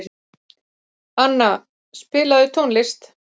Anna, spilaðu tónlist.